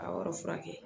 A yɔrɔ furakɛ